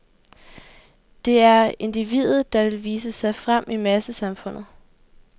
Det er individet, der vil vise sig frem i massesamfundet.